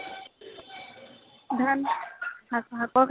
ধান । শা শাকৰ খেতি